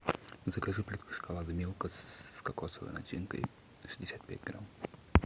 закажи плитку шоколада милка с кокосовой начинкой шестьдесят пять грамм